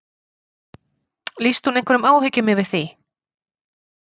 Lýsti hún einhverjum áhyggjum yfir því?